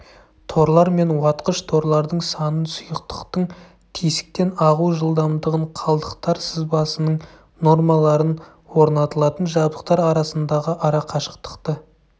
торлар мен уатқыш-торлардың санын сұйықтықтың тесіктен ағу жылдамдығын қалдықтар сызбасының нормаларын орнатылатын жабдықтар арасындағы арақашықтықты